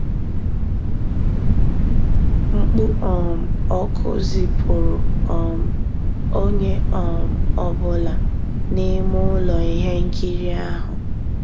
Mkpú um ọ́kụ́ zìpùrụ́ um ónyé um ọ́ bụ́là n'ímé ụ́lọ́ íhé nkírí ahụ́.